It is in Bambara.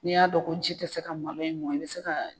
N'i y'a dɔn ko ji tɛ se ka malo in mɔn i bɛ se ka